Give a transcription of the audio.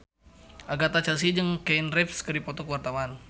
Agatha Chelsea jeung Keanu Reeves keur dipoto ku wartawan